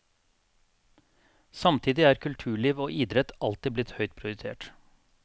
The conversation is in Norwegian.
Samtidig er kulturliv og idrett alltid blitt høyt prioritert.